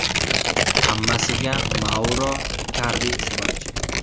Hammasiga Mauro Ikardi sababchi.